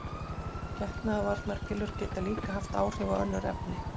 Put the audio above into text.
Getnaðarvarnarpillur geta líka haft áhrif á önnur efni.